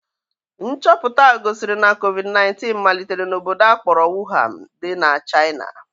Nchọpụta gosiri na covid 19 malitere n'obodo a kpọrọ Wuhan dị na China